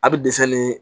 A bɛ dɛsɛ nin